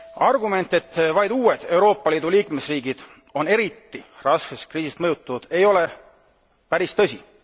Argument, et vaid uued Euroopa Liidu liikmesriigid on eriti raskelt kriisist mõjutatud, ei ole päris tõsi.